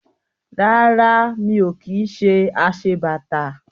Rárá. Mi ò kí ṣe aṣebàtà